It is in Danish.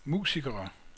musikere